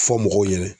Fɔ mɔgɔw ɲɛnɛ